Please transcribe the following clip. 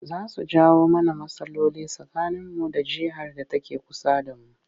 Za su jawo mana rmatsaloli tsakaninmu da jihar da take kusa da mu